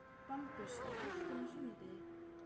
Bambus, er bolti á sunnudaginn?